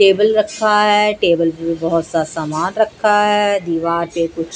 table रखा है table पे बहोत सा सामान रखा है दीवार पे कुछ--